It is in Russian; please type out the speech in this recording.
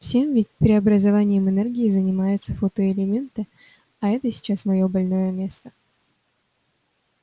всем ведь преобразованием энергии занимаются фотоэлементы а это сейчас моё больное место